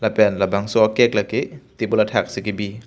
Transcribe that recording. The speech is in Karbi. pen labangso a cake lake table athak si kebi.